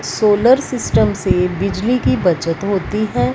Solar system से बिजली की बचत होती हैं।